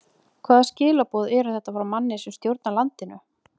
Hvaða skilaboð eru þetta frá manni sem stjórnar landinu?